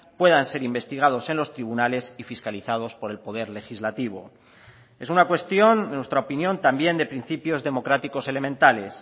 puedan ser investigados en los tribunales y fiscalizados por el poder legislativo es una cuestión en nuestra opinión también de principios democráticos elementales